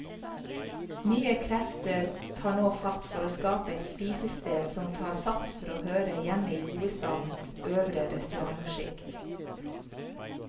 Nye krefter tar nå fatt, for å skape et spisested som tar sats for å høre hjemme i hovedstadens øvre restaurantskikt.